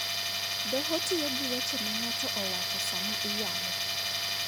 Doho tiyo gi weche ma ng'ato owacho sama iyalo.